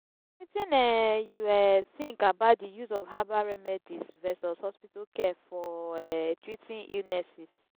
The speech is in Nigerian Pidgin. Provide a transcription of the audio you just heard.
wetin um you um think about di use of herbal remedies versus hospital care for um treating illnesses?